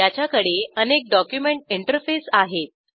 याच्याकडे अनेक document interface आहेत